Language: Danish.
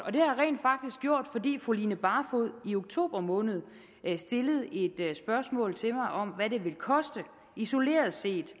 fordi fru line barfod i oktober måned stillede et spørgsmål til mig om hvad det isoleret set